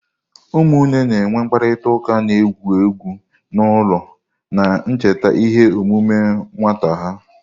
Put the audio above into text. Ụmụnne na-enwe mkparịta ụka na-egwu egwu n'ụlọ, na-echeta ihe omume nwata ha.